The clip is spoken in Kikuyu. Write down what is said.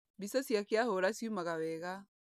Mbica ciake ahũra ciumaga wega.